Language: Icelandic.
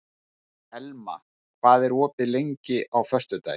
Elma, hvað er opið lengi á föstudaginn?